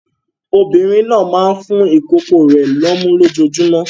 Obìnrin náà máa ń fún ìkókó rẹ̀ lọ́mú lójoojúmọ́.